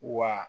Wa